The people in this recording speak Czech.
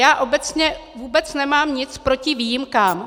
Já obecně vůbec nemám nic proti výjimkám.